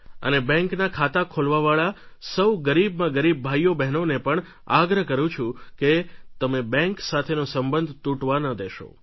અને બેન્કનાં ખાતાં ખોલવાવાળા સૌ ગરીબમાં ગરીબ ભાઈઓબહેનોને પણ આગ્રહ કરું છું કે તમે બેન્ક સાથેનો સંબંધ તૂટેવા ન દેશો